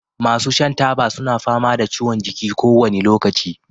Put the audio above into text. masu shan taba suna fama da ciwon jiki kowane lokaci